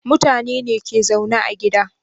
Mutane ne ke zaune a gida